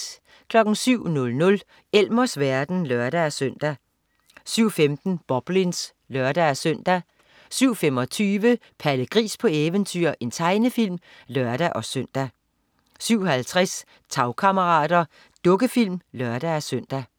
07.00 Elmers verden (lør-søn) 07.15 Boblins (lør-søn) 07.25 Palle Gris på eventyr. Tegnefilm (lør-søn) 07.50 Tagkammerater. Dukkefilm (lør-søn)